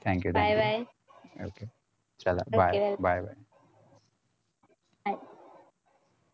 thank you thank you